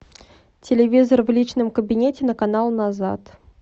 телевизор в личном кабинете на канал назад